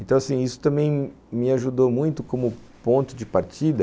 Então, isso também me ajudou muito como ponto de partida.